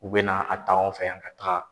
U bɛna a ta anw fɛ yan ka taa.